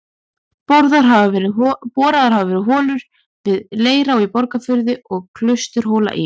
Boraðar hafa verið holur við Leirá í Borgarfirði og Klausturhóla í